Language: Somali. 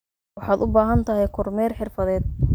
Waxaad u baahan tahay kormeer xirfadeed.